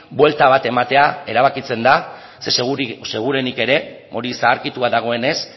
buelta bat ematea erabakitzen da ze seguruenik ere hori zaharkitua dagoenez